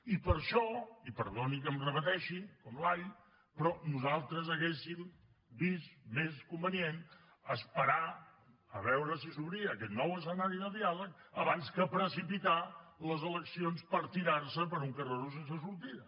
i per això i perdoni que em repeteixi com l’all però nosaltres haguéssim vist més convenient esperar a veure si s’obria aquest nou escenari de diàleg abans que precipitar les eleccions per tirar se per un carreró sense sortida